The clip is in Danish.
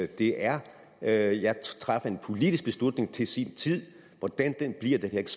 det er er jeg træffer en politisk beslutning til sin tid hvordan den bliver kan jeg ikke